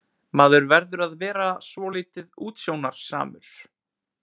Maður verður að vera svolítið útsjónarsamur.